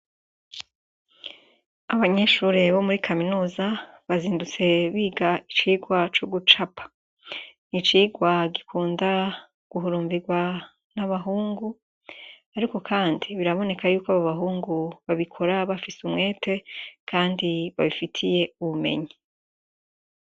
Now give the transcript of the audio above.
Abanyeshure bo muri Kaminuza bazindutse biga icigwa co gucapa n'icigwa gikunda guhurumbirwa n'abahungu ariko kandi biraboneka ko abobahungu babikora bafise umwete kandi babikora babifitiye ubumenyi.